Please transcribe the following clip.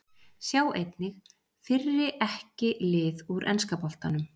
Sjá einnig: Fyrri EKKI lið úr enska boltanum